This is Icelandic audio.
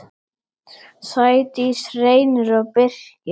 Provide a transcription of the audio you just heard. Sædís, Reynir og Birkir.